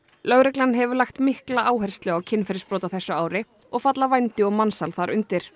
lögreglan hefur lagt mikla áherslu á kynferðisbrot á þessu ári og falla vændi og mansal þar undir